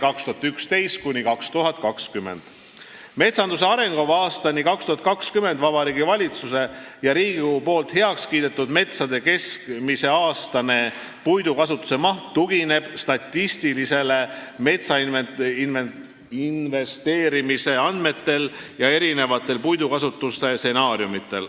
"Metsanduse arengukavas 2011–2020" Vabariigi Valitsuse ja Riigikogu poolt heaks kiidetud metsade keskmine aastane puidukasutuse maht tugineb statistilise metsainventeerimise andmetele ja erinevatele puidukasutuse stsenaariumidele.